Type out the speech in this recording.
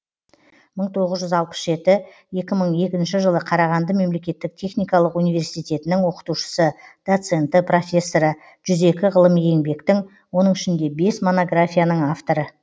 мың тоғыз жүз алпыс жеті екі мың екінші жылы қарағанды мемлекеттік техникалық университетінің оқытушысы доценті профессоры жүз екі ғылыми еңбектің оның ішінде бес монографияның авторы